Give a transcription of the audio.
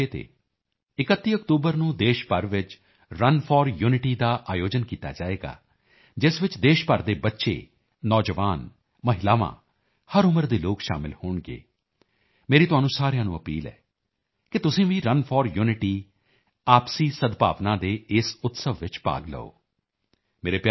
ਸਾਹਿਬ ਦੀ ਜਯੰਤੀ ਦੇ ਮੌਕੇ ਤੇ 31 ਅਕਤੂਬਰ ਨੂੰ ਦੇਸ਼ ਭਰ ਚ ਰਨ ਫੋਰ ਯੂਨਿਟੀ ਦਾ ਆਯੋਜਨ ਕੀਤਾ ਜਾਏਗਾ ਜਿਸ ਚ ਦੇਸ਼ ਭਰ ਦੇ ਬੱਚੇ ਨੌਜਵਾਨ ਮਹਿਲਾਵਾਂ ਹਰ ਉਮਰ ਦੇ ਲੋਕ ਸ਼ਾਮਿਲ ਹੋਣਗੇ ਮੇਰੀ ਤੁਹਾਨੂੰ ਸਾਰਿਆਂ ਨੂੰ ਅਪੀਲ ਹੈ ਕਿ ਤੁਸੀਂ ਵੀ ਰਨ ਫੋਰ ਯੂਨਿਟੀ ਆਪਸੀ ਸਦਭਾਵਨਾ ਦੇ ਇਸ ਉਤਸਵ ਚ ਭਾਗ ਲਓ